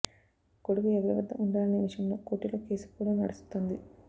కొడుకు ఎవరివద్ద ఉండాలనే విషయంలో కోర్టులో కేసు కూడా నడుస్తోంది